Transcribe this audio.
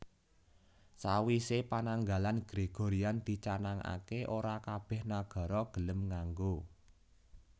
Sawisé pananggalan Gregorian dicanangaké ora kabèh nagara gelem nganggo